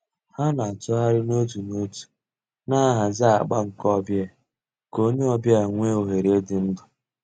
Hà nà-àtụ̀ghàrì n'òtù n'òtù nà-àhàzì àgbà nke ò bịa kà ònyè ọ̀ bịa nwee òhèrè ídù ndú.